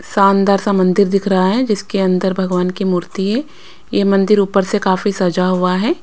शानदार सा मंदिर दिख रहा है जिसके अंदर भगवान की मूर्ति है यह मंदिर ऊपर से काफी सजा हुआ है।